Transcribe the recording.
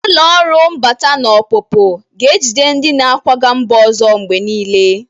Ụlọ ọrụ mbata na ọpụpụ ga-ejide ndị na-akwaga mba ọzọ mgbe niile.